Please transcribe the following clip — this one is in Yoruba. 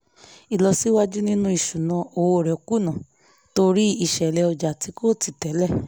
ìlọsíwájú nínú ìṣúnná owó rẹ̀ kùnà torí ìṣẹ̀lẹ̀ ọjà tí kò títẹ̀lẹ̀